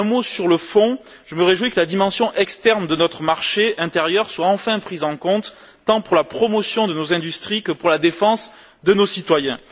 Sur le fond, je me réjouis que la dimension externe de notre marché intérieur soit enfin prise en compte, tant pour la promotion de nos industries que pour la défense de nos concitoyens.